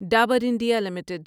Dabur India limited